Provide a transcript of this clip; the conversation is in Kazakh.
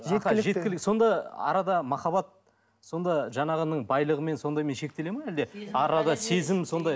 сонда арада махаббат сонда жаңағының байлығымен сондаймен шектеледі ме әлде арада сезім сондай